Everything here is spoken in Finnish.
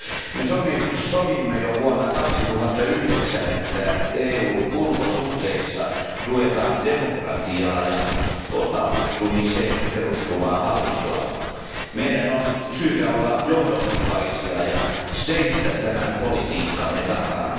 Me sovimme jo vuonna 2009, että EUn ulkosuhteissa tuetaan demokratiaa ja osallistumiseen perustuvaa hallintoa. Meidän on syytä olla johdonmukaisia ja seisoa tämän politiikkamme takana.